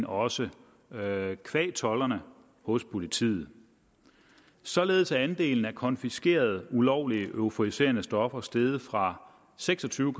også qua tolderne hos politiet således er andelen af konfiskerede ulovlige euforiserende stoffer steget fra seks og tyve